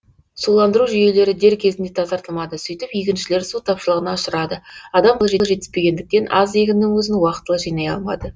суландыру жүйелері дер кезінде тазартылмады сөйтіп егіншілер су тапшылығына ұшырады адам қолы жетіспегендіктен аз егіннің өзін уақытылы жинай алмады